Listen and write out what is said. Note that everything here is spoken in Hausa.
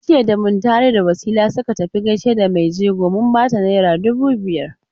Jiya da Muntari da Wasila suka tafi gaishe da mai jego mun bata naira dubu biyar.